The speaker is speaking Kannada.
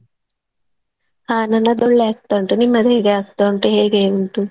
ಹಾ ನನ್ನದೊಳ್ಳೇ ಆಗ್ತ ಉಂಟು ನಿಮ್ಮದ್ಹೇಗೆ ಆಗ್ತಾ ಉಂಟು ಹೇಗೆ ಉಂಟು.